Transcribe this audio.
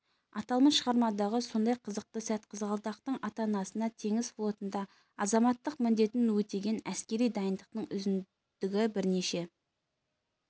аталмыш шығармадағы сондай қызықты сәт қызғалдақтың ата-анасына теңіз флотында азаматтық міндетін өтеген әскери дайындықтың үздігі бірнеше